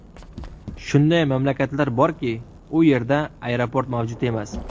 Shunday mamlakatlar borki, u yerda aeroport mavjud emas.